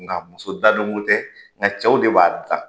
Nka muso dadonko tɛ nka cɛw de b'a dilan